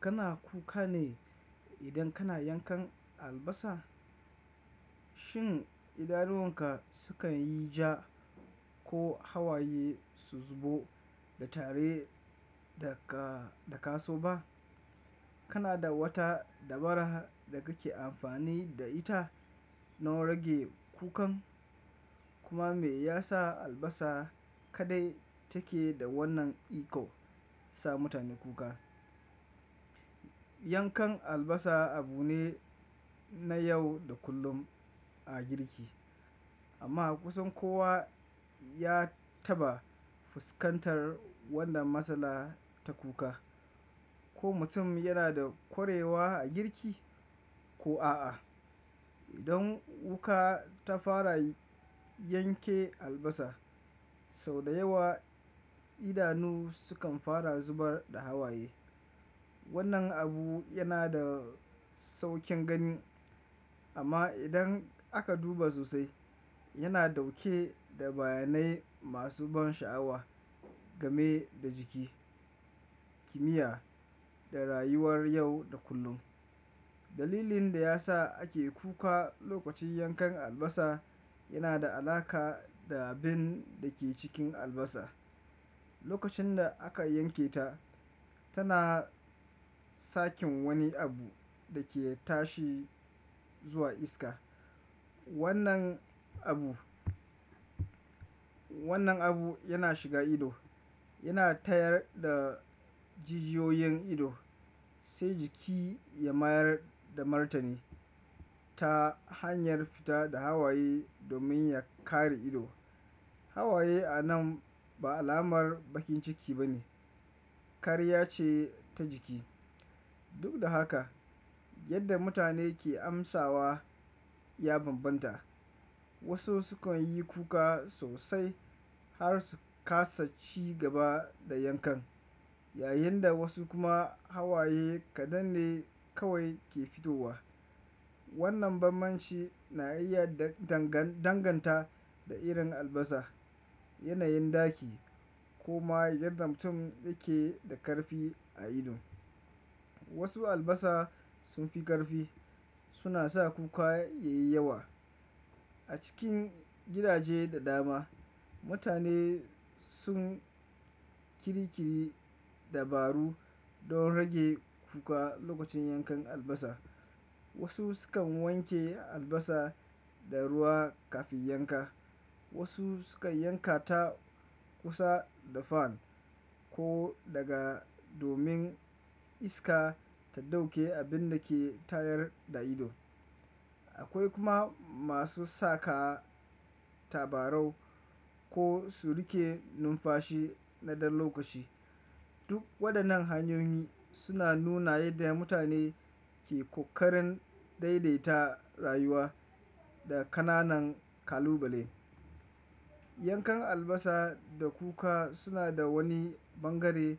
Kana kuka ne idan kana yankan albasa? Shin idanuwan ka sukan yi ja ko hawaye su zubo ba tare da ka, da ka so ba? Kana da wata dabara da kake amfani da ita don rage kukan kuma me ya sa albasa kaɗai take da wannan iko sa mutane kuka? Yankan albasa abu ne na yau da kullum a girki amma kusan kowa ya taɓa fuskantar wannan matsala ta kuka. Ko mutum yana da kwarewa a girki ko a a, idan wuka ta fara yanke albasa sau da yawa idanu sukan fara zubar da hawaye. Wannan abu yana da sauƙin gani amma idan aka duba sosai yana ɗauke da bayanai masu ban sha'awa game da jiki, kimiyya da rayuwar yau da kullum. Dalilin da ya sa ake kuka lokacin yankan albasa yana da alaƙa da abin da ke cikin albasa. Lokacin da aka yanke ta tana sakin wani abu da ke tashi zuwa iska. Wannan abu, wannan abu yana shiga ido yana tayar da jijiyoyin ido sai jiki ya mayar da martani ta hanyar fita da hawaye domin ya kare ido. Hawaye a nan ba alamar baƙin ciki ba ne, kariya ce ta jiki. Duk da haka yadda mutane ke amsawa ya bambanta. Wasu sukan yi kuka sosai har su kasa ci gaba da yankan, yayin da wasu kuma hawaye kaɗan ne kawai ke fitowa. Wannan bambanci na iya danganta da irin albasa, yanayin ɗaki koma yadda mutum ya ke da ƙarfi a ido. Wasu albasa sun fi ƙarfi suna sa kuka yayi yawa. A cikin gidaje da dama mutane sun kirikiri dabaru don rage kuka lokacin yankan albasa. Wasu sukan wanke albasa da ruwa kafin yanka, wasu sukan yanka ta kusa da fan ko daga domin iska ta ɗauke abin da ke tayar da ido. Akwai kuma masu saka tabarau ko su riƙe numfashi na ɗan lokaci. Duk waɗannan hanyoyi suna nuna yadda mutane ke ƙoƙarin daidaita rayuwa da ƙananan kalubale. Yankan albasa da kuka suna da wani bangare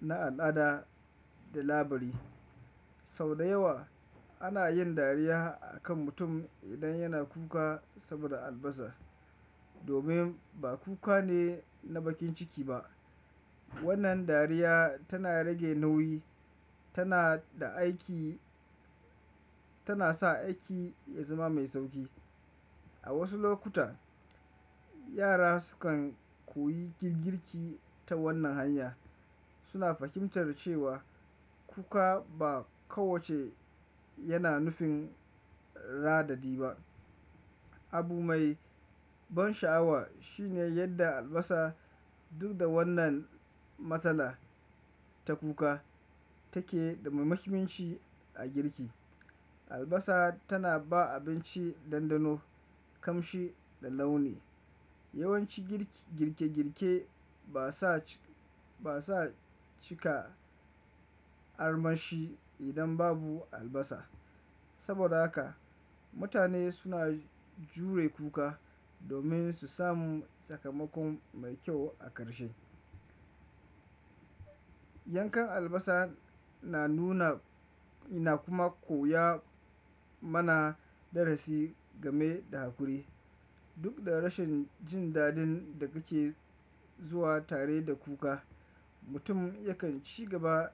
na al'ada da labari. Sau da yawa ana yin dariya a kan mutum idan yana kuka saboda albasa domin ba kuka ne na bakin ciki ba. Wannan dariya tana rage nauyi tana da aiki, tana sa aiki ya zama mai sauƙi. A wasu lokuta yara sukan koyi girki ta wannan hanya suna fahimtar cewa kuka ba kowace yana nufin raɗaɗi ba. Abu mai ban sha'awa shine yadda albasa duk da wannan matsala ta kuka take da muhimmanci a girki. Albasa tana ba abinci ɗanɗano, ƙamshi da launi. Yawanci girki, girke-girke ba sa cika armashi idan babu albasa. Saboda haka mutane suna jure kuka domin su samu sakamakon mai kyau a ƙarshe. Yankan albasa na nuna ina kuma koya mana darasi game da haƙuri. Duk da rashin jin daɗin da kake zuwa tare da kuka mutum yakan ci gaba da-